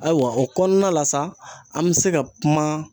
Ayiwa o kɔnɔna la sa an bɛ se ka kuma.